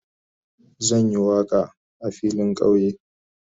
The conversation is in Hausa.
Zan yi waka a filin kauye.